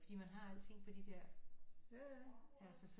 Fordi man har alting på de der altså så